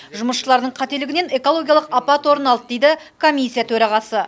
жұмысшылардың қателігінен экологиялық апат орын алды дейді комиссия төрағасы